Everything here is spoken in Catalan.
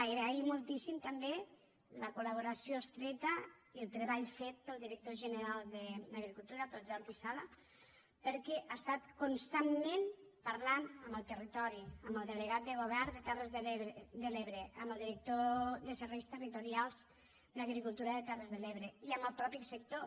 agrair moltíssim també la col·laboració estreta i el treball fet pel director general d’agricultura pel jordi sala perquè ha estat constantment parlant amb el territori amb el delegat del govern a terres de l’ebre amb el director de serveis territorials d’agricultura de terres de l’ebre i amb el mateix sector